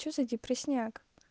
что за депресняк